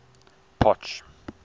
potch